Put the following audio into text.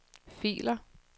filer